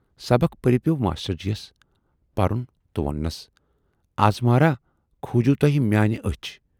سبق پٔرِتھ پٮ۪و ماشٹر جِیَس پَرن تہٕ ووننَس "اَز مہراہ کھوٗجوٕ توہہِ میانہِ ٲچھ